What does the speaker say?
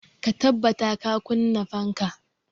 Ka tabbata ka kunna fanka!